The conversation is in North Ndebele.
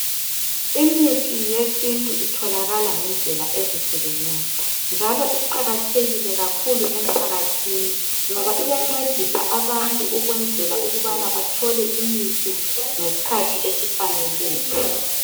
Imithi yesintu itholakala ngendlela ezihlukeneyo njalo kuqakathekile kakhulu emphakathini ngoba iyancedisa abantu ukwenzela ukuthi bathole imithi ngesikhathi esifaneleyo